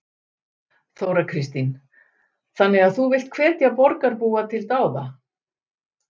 Þóra Kristín: Þannig að þú villt hvetja borgarbúa til dáða?